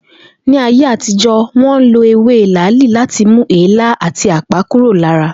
Ní ayé àtijó̩, wó̩n lo ewe làálí láti mú èélá àti àpá kúrò lára